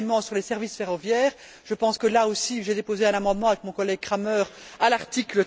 Troisièmement, sur les services ferroviaires, je pense que là aussi j'ai déposé un amendement avec mon collègue Cramer à l'article